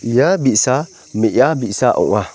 ia bi·sa me·a bi·sa ong·a.